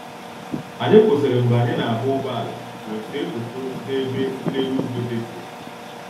Anyị kwụsịrị mgbe anyị na-agba ụgbọala wee see foto n'ebe nlere ugwu dị jụụ